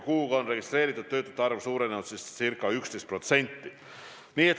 Kuuga on registreeritud töötute arv suurenenud ca 11%.